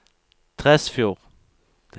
Tresfjord